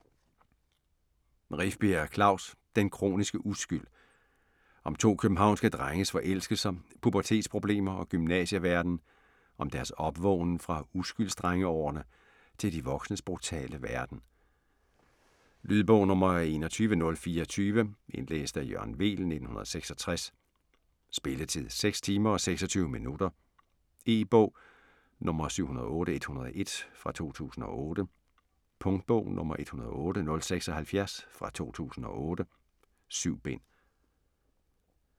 Rifbjerg, Klaus: Den kroniske uskyld Om to københavnske drenges forelskelser, pubertetsproblemer og gymnasieverden, om deres opvågnen fra uskylds-drengeårene til de voksnes brutale verden. Lydbog 21024 Indlæst af Jørgen Weel, 1966. Spilletid: 6 timer, 26 minutter. E-bog 708101 2008. Punktbog 108076 2008. 7 bind.